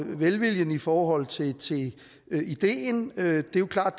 velviljen i forhold til ideen det er klart